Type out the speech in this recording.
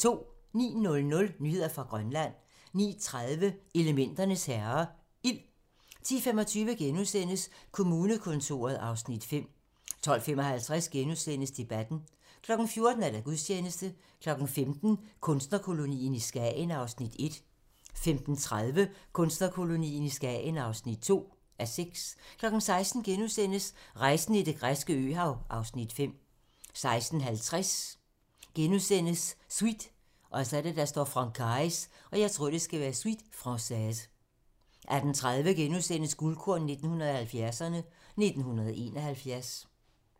09:00: Nyheder fra Grønland 09:30: Elementernes herrer - ild 10:25: Kommunekontoret (Afs. 2)* 12:55: Debatten * 14:00: Gudstjeneste 15:00: Kunstnerkolonien i Skagen (1:6) 15:30: Kunstnerkolonien i Skagen (2:6) 16:00: Rejsen i det græske øhav (Afs. 5)* 16:50: Suite Francaise * 18:30: Guldkorn 1970'erne: 1971 *